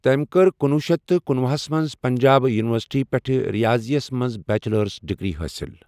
تٔمۍ کٔر کنۄہ شیتھ کنُۄہ ہَس منٛز پنجاب یونیورسٹی پٮ۪ٹھ ریاضی یَس منٛز بیچلرٕچ ڈگری حٲصِل۔